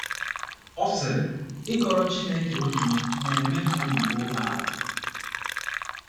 Ọ sịrị: “ Ịkọrọ Chineke obi m na - eme ka obi ruo m ala.